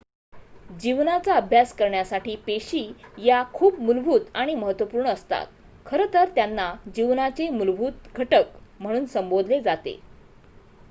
"जीवनाचा अभ्यास करण्यासाठी पेशी या खूप मूलभूत आणि महत्त्वपूर्ण असतात खरं तर त्यांना "जीवनाचे मूलभूत घटक" म्हणून संबोधले जाते.